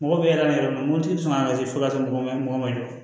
Mɔgɔ bɛ yaala yɔrɔ min na mobili bɛ sɔn ka se fo ka taa sɔrɔ mɔgɔ ma jɔ